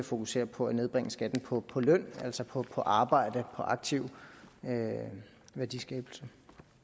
fokusere på at nedbringe skatten på på løn altså på arbejde på aktiv værdiskabelse